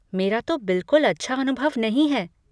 मेरा तो बिलकुल अच्छा अनुभव नहीं है।